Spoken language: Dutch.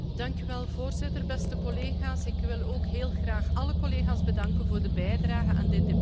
Voorzitter, beste collega's, ik wil ook heel graag alle collega's bedanken voor de bijdrage aan dit debat.